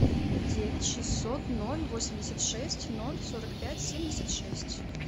девять шестьсот ноль восемьдесят шесть ноль сорок пять семьдесят шесть